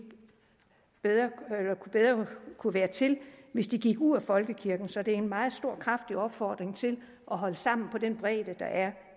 bedre kunne være til hvis de gik ud af folkekirken så det er en meget stor og kraftig opfordring til at holde sammen på den bredde der er